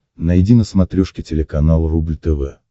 найди на смотрешке телеканал рубль тв